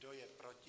Kdo je proti?